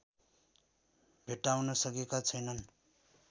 भेट्टाउन सकेका छैनन्